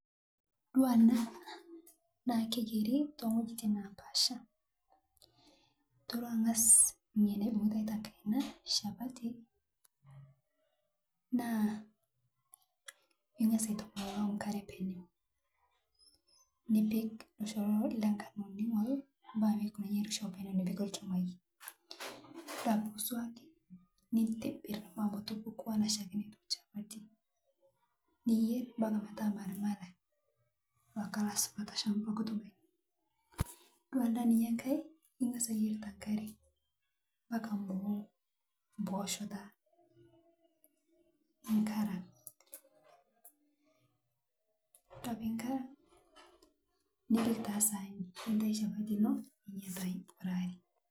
Etodua naa keyieri too wuejitin napasha eng'as ore ena shapati naa eng'as airowuajie enkare penye nipik enkurma enkano nisulaki enkiti shimpi niyier ometaa ore endaa enkae ningas eyier tenkare omeku ore peku ningarag nipik taa sahani ninosie shapati eno